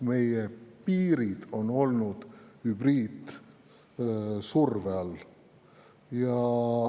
Meie piirid on olnud hübriidsurve all.